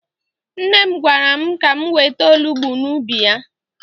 Nne m gwara m ka m wete olugbu n'ubi ya.